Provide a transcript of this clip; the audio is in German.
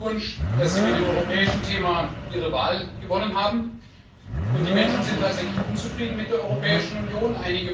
Herzlichen Glückwunsch, dass Sie mit dem europäischen Thema Ihre Wahl gewonnen haben! Die Menschen sind tatsächlich unzufrieden mit der Europäischen Union.